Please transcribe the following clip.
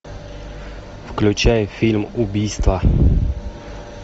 включай фильм убийство